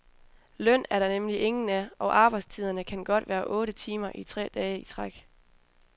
Løn er der nemlig ingen af, og arbejdstiderne kan godt være otte timer i tre dage i træk.